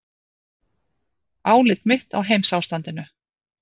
ÁLIT MITT Á HEIMSÁSTANDINU